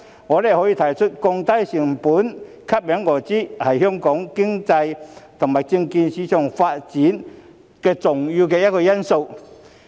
我們可以看出，降低交易成本吸引外資，是香港經濟和證券市場發展的重要因素之一。